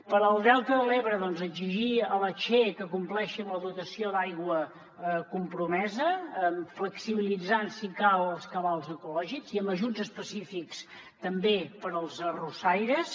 per al delta de l’ebre doncs exigir a la che que compleixi amb la dotació d’aigua compromesa flexibilitzant si cal els cabals ecològics i amb ajuts específics també per als arrossaires